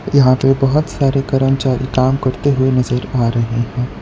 यहां पे बहुत सारे कर्मचारी काम करते हुए नजर आ रहे हैं।